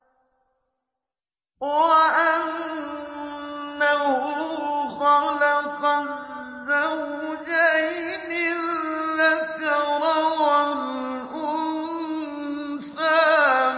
وَأَنَّهُ خَلَقَ الزَّوْجَيْنِ الذَّكَرَ وَالْأُنثَىٰ